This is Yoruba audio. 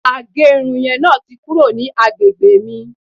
agerun yen ti kuro ni agbegbe mi